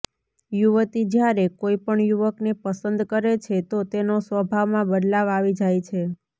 યુવતી જ્યારે કોઇપણ યુવકને પસંદ કરે છે તો તેનો સ્વભાવમાં બદલાવ આવી જાય છે